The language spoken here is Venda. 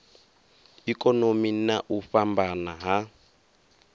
ikonomi na u fhambana ha